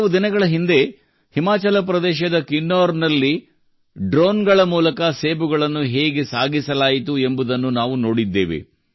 ಕೆಲವು ದಿನಗಳ ಹಿಂದೆ ಹಿಮಾಚಲ ಪ್ರದೇಶದ ಕಿನ್ನೌರ್ನಲ್ಲಿ ಡ್ರೋನ್ಗಳ ಮೂಲಕ ಸೇಬುಗಳನ್ನು ಹೇಗೆ ಸಾಗಿಸಲಾಯಿತು ಎಂಬುದನ್ನು ನಾವು ನೋಡಿದ್ದೇವೆ